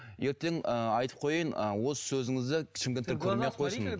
ертең ы айтып қояйын ы осы сөзіңізді шымкенттіктер көрмей ақ қойсын